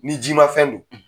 Ni jima fɛn don